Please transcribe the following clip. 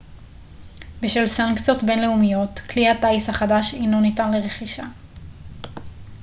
בשל סנקציות בינלאומיות כלי הטיס החדש אינו ניתן לרכישה